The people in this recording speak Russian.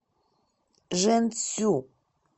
жэньцю